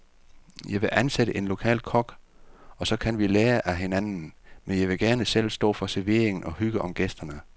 Jeg vil ansætte en lokal kok, og så kan vi lære af hinanden, men jeg vil gerne selv stå for servering og hygge om gæsterne.